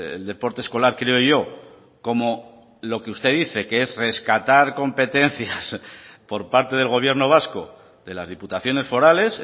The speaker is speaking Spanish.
el deporte escolar creo yo como lo que usted dice que es rescatar competencias por parte del gobierno vasco de las diputaciones forales